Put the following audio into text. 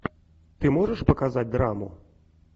ты можешь показать драму